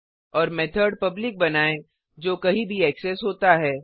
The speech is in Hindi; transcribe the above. और मेथड पब्लिक बनाएँ जो कहीं भी ऐक्सेस होता है